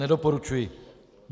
Nedoporučuji.